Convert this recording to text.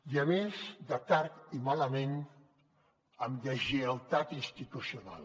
i a més de tard i malament amb deslleialtat institucional